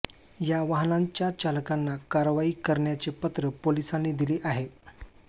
या वाहनांच्या चालकांना कारवाई करण्याचे पत्र पोलिसांनी दिले आहे